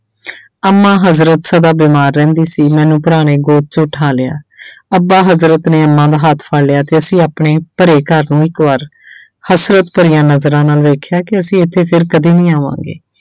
ਅੰਮਾ ਹਜ਼ਰਤ ਸਦਾ ਬਿਮਾਰ ਰਹਿੰਦੀ ਸੀ ਮੈਨੂੰ ਭਰਾ ਨੇ ਗੋਦ 'ਚ ਉਠਾ ਲਿਆ ਅੱਬਾ ਹਜ਼ਰਤ ਨੇ ਅੰਮਾ ਦਾ ਹੱਥ ਫੜ ਲਿਆ ਤੇ ਅਸੀਂ ਆਪਣੇ ਭਰੇ ਘਰ ਨੂੰ ਇੱਕ ਵਾਰ ਹਸਰਤ ਭਰੀਆਂ ਨਜ਼ਰਾਂ ਨਾਲ ਵੇਖਿਆ ਕਿ ਅਸੀਂ ਇੱਥੇ ਫਿਰ ਕਦੇ ਨਹੀਂ ਆਵਾਂਗੇ।